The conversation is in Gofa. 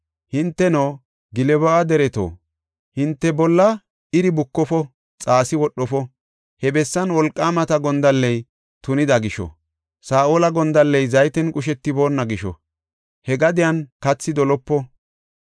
Hinteno Gilbo7a dereto, hinte bolla iri bukofo; aki wodhofo. He bessan wolqaamata gondalley tunida gisho, Saa7ola gondalley zayten qushetiboona gisho, he gadiyan kathi dolopo.